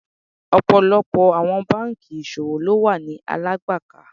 Ọ̀pọ̀lọpọ̀ àwọn bankì ìṣòwò ló wà ni Alágbàká.